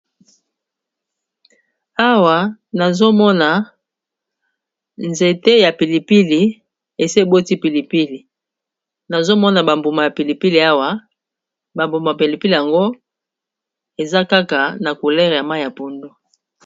Awa nazomona nzete ya pilipili eseboti pilipili, nazomona bambuma ya pilipili awa ba mbuma pilipili yango eza kaka na coulere ya ma ya pundo.